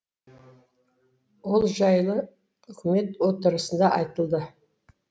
ол жайлы үкімет отырысында айтылды